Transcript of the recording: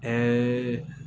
Ɛɛ